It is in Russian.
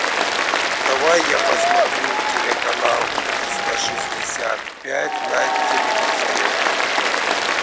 давай я посмотрю телеканал триста шестьдесят пять на телевизоре